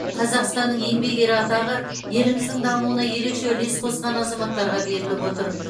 қазақстанның еңбек ері атағы еліміздің дамуына ерекше үлес қосқан азаматтарға беріліп отыр